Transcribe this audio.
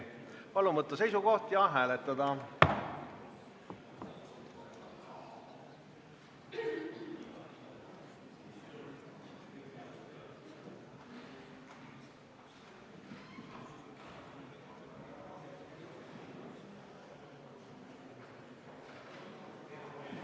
Palun võtta seisukoht ja hääletada!